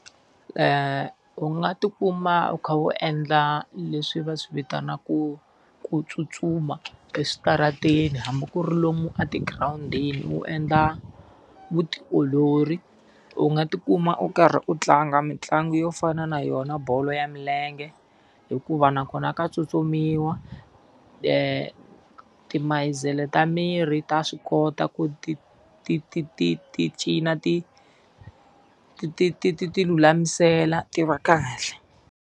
U nga ti kuma u kha u endla leswi va swi vitanaka ku tsutsuma eswitarateni hambi ku ri lomu etigirawundini u endla vutiolori. U nga ti kuma u karhi u tlanga mitlangu yo fana na yona bolo ya milenge, hikuva na kona ka tsutsumiwa. Timasele ta miri ta swi kota ku ti ti ti ti ti cina ti ti ti ti ti ti lulamisela ti ra kahle.